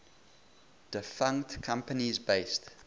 defunct companies based